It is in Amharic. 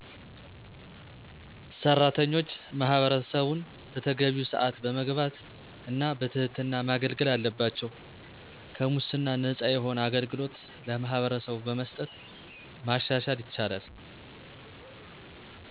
ሥራተኞች ማህበረሠቡን በተገቢው ሰአት በመግባት እና በትህትና ማገልገል አለባቸው። ከሙስና ነፃ የሆነ አገልግሎት ለማህበረሰቡ በመስጠት ማሻሻል ይቻላል።